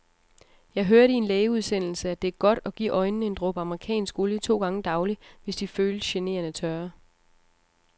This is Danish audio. Jeg hørte i en lægeudsendelse, at det er godt at give øjnene en dråbe amerikansk olie to gange daglig, hvis de føles generende tørre.